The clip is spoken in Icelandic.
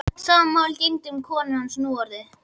Sama máli gegndi um konu hans núorðið.